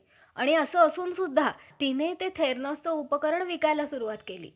जांघा आणि पाय या चार ठिकाणच्या योनी दूरशा झाल्यामूळे त्यास एकंदर सोळा दिवस सोवाळे होऊन बसावे लाग~ लागले असे.